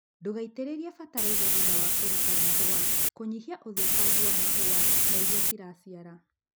ndûgaitïrïrie bataraitha thutha wa kûruta mahûa kûnyihia ûthûkangu wa mahûa nairiaciracira